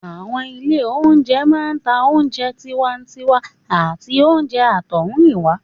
Àwọn ilé oúnjẹ máa ń ta oúnjẹ tiwantiwa àti oúnjẹ àtọ̀húnrìnwá